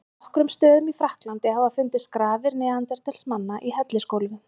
Á nokkrum stöðum í Frakklandi hafa fundist grafir neanderdalsmanna í hellisgólfum.